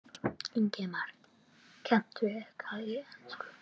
Ingimar: Kanntu eitthvað í ensku?